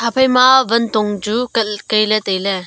ephai ma wan thong chu kai ley tai ley.